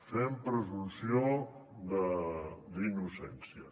fem presumpció d’innocència